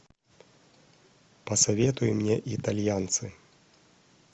посоветуй мне итальянцы